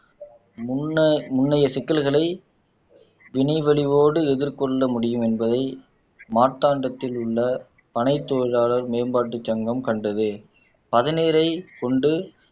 முன்ன முன்னைய சிக்கல்களை வினை வடிவோடு எதிர்கொள்ள முடியும் என்பதை மார்த்தாண்டத்தில் உள்ள பனைத் தொழிலாளர் மேம்பாட்டுச் சங்கம் கண்டது பதநீரைக் கொண்டு